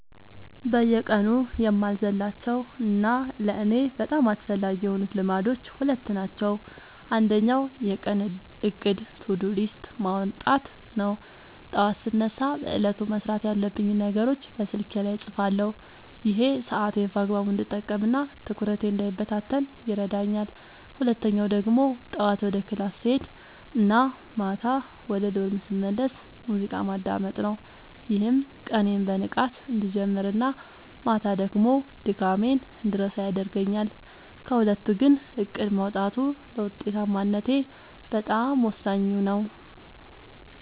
በየቀኑ የማልዘልላቸው እና ለእኔ በጣም አስፈላጊ የሆኑት ልማዶች ሁለት ናቸው። አንደኛው የቀን እቅድ (To-Do List) ማውጣት ነው፤ ጠዋት ስነሳ በዕለቱ መስራት ያለብኝን ነገሮች በስልኬ ላይ እጽፋለሁ። ይሄ ሰዓቴን በአግባቡ እንድጠቀምና ትኩረቴ እንዳይበታተን ይረዳኛል። ሁለተኛው ደግሞ ጠዋት ወደ ክላስ ስሄድ እና ማታ ወደ ዶርም ስመለስ ሙዚቃ ማዳመጥ ነው፤ ይህም ቀኔን በንቃት እንድጀምርና ማታ ደግሞ ድካሜን እንድረሳ ያደርገኛል። ከሁለቱ ግን እቅድ ማውጣቱ ለውጤታማነቴ በጣም ወሳኙ ነው።